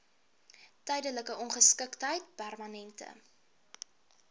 tydelike ongeskiktheid permanente